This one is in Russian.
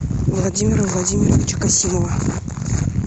владимира владимировича касимова